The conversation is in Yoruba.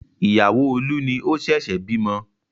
Ìyàwó Olú ni ó ṣẹ̀ṣẹ̀ bímọ.